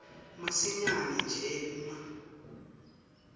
masinyane nje uma